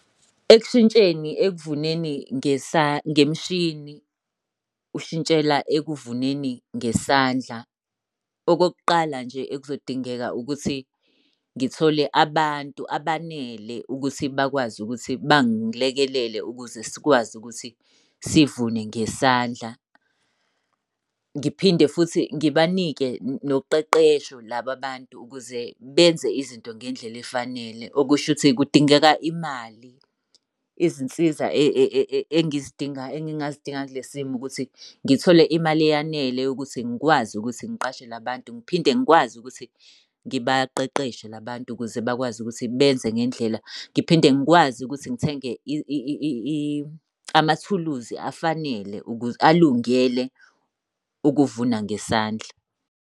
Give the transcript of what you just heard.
Ekushintsheni ekuvuneni ngemishini, ushintshela ekuvuneni ngesandla. Okokuqala nje ekuzodingeka ukuthi ngithole abantu abanele ukuthi bakwazi ukuthi bangilekelele ukuze sikwazi ukuthi sivune ngesandla. Ngiphinde futhi ngibanike noqeqesho laba abantu ukuze benze izinto ngendlela efanele, okusho ukuthi kudingeka imali. Izinsiza engizidinga, engingazidinga kule simo ukuthi ngithole imali eyanele yokuthi ngikwazi ukuthi ngiqashe la bantu, ngiphinde ngikwazi ukuthi ngibaqeqeshe la bantu ukuze bakwazi ukuthi benze ngendlela. Ngiphinde ngikwazi ukuthi ngithenge amathuluzi afanele ukulungele ukuvuna ngesandla.